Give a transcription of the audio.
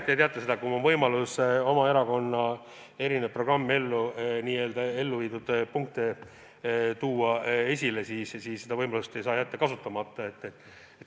Te teate, et kui on võimalus oma erakonna programmides toodud punktide elluviimist esile tuua, siis seda võimalust ei saa kasutamata jätta.